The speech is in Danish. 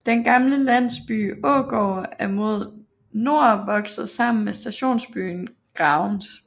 Den gamle landsby Ågård er mod nord vokset sammen med stationsbyen Gravens